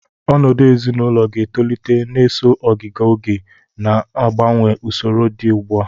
Ọnọdụ ezinaụlọ ga-etolite na-eso ogiga oge, na-agbanwe usoro dị ugbua.